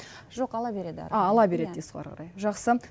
жоқ ала береді а ала береді дейсіз ғой ары қарай жақсы